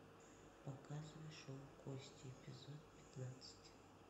показывай шоу кости эпизод пятнадцать